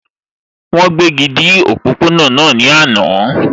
Wọ́n gbéji dá òpópó-ọ̀nà náà ní àná